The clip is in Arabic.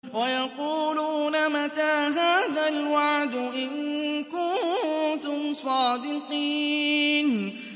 وَيَقُولُونَ مَتَىٰ هَٰذَا الْوَعْدُ إِن كُنتُمْ صَادِقِينَ